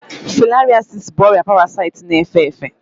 Filariasis bụ ọrịa parasaịtị na-efe efe